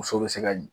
Muso bɛ se ka